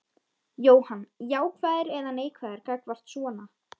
Jóhann: Jákvæður eða neikvæður gagnvart svona?